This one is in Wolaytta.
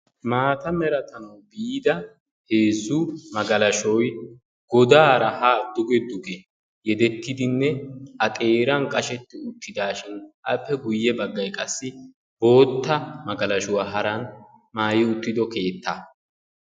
Maata merattan biida heezzu magalashoyi godaara haa duge duge yedettidinne a xeeran qashetti uttidaashin appe guyye baggayi qassi bootta magalashuwa haran maayi uttido keettaa.